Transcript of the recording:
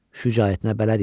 Şücaətinə bələd idi.